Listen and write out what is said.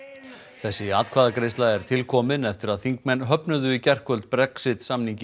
þessi atkvæðagreiðsla er til komin eftir að þingmenn höfnuðu í gærkvöld Brexit samningi